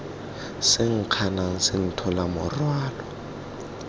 se nkganang se nthola morwalo